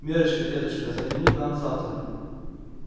миррочка деточка загляни к нам завтра